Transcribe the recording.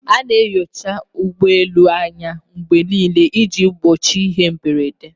A na-enyocha ụgbọ elu anya mgbe niile iji gbochie ihe mberede